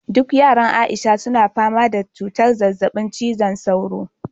duk yaran aisha suna fama da cutar zazzabin cizon sauro